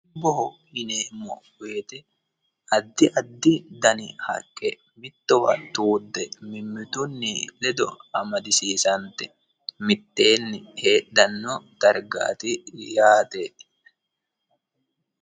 dubboho yineemmo wote addi addi dani haqqe giddo mittowa tuudde mimmitu ledo amadisiisante mitteenni heedhanno dargaati yaate.